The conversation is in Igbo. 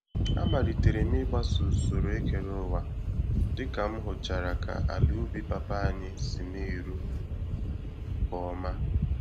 Amalitere m ịgbaso usoro ekere-ụwa dịka m hụchara ka àlà-ubi Papa anyị si n'eru nke ọma.